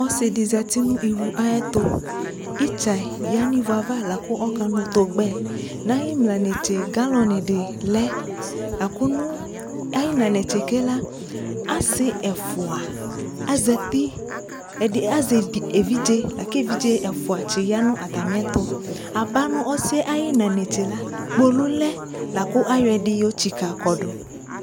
Ɔsi dι zati nʋ ivu ayi tʋItzɛ ya nʋ ivu ava kʋ ɔkanʋ togbɛ Nʋ ayi ina netse galɔn dιnι lɛ akʋ nʋ ayi ina netse ke la asi ɛcua ezati ɛdi azɛ evidze aku evidze ɛfua ti ya nʋ atɛmi ɛtʋAba nʋ ɔsi yɛ ayi ina netse la, kpolu lɛ la kʋ ayɔ ɛdι yotsika kɔdʋ